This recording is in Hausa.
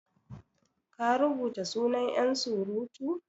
ka rubuta sunan yansurutu?